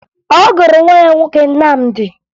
Ọ gụrụ nwa ya nwoke Nnamdi